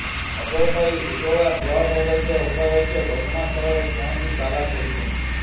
ଖବର ପାଇ Udala block ଅଧ୍ୟକ୍ଷ ଉପାଧ୍ୟକ୍ଷ ଘଟଣା ସ୍ଥଳରେ ପହଂଚି ତାଲା ଖୋଲିଛନ୍ତି